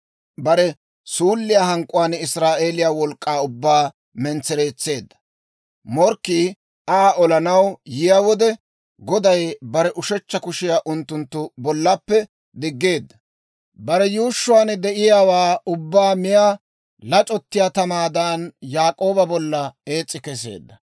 Bare suulliyaa hank'k'uwaan Israa'eeliyaa wolk'k'aa ubbaa mentsereetseedda. Morkkii Aa olanaw yiyaa wode, Goday bare ushechcha kushiyaa unttunttu bollappe diggeedda. Bare yuushshuwaan de'iyaawaa ubbaa miyaa lac'ottiyaa tamaadan, Yaak'ooba bolla ees's'i keseedda.